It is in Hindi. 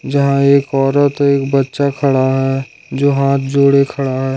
जहां औरत एक बच्चा खड़ा है जो हाथ जोड़े खड़ा है।